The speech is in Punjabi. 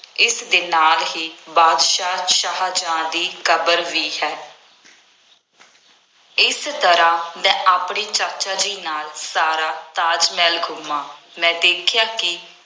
ਇਸਦੇ ਨਾਲ ਹੀ ਬਾਦਸ਼ਾਹ ਸ਼ਾਹਜਹਾਂ ਦੀ ਕਬਰ ਵੀ ਹੈ। ਇਸ ਤਰ੍ਹਾਂ ਮੈ ਆਪਣੇ ਚਾਚਾ ਜੀ ਨਾਲ ਸਾਰਾ ਤਾਜ ਮਹਿਲ ਘੁੰਮਿਆ, ਮੈਂ ਦੇਖਿਆ ਕਿ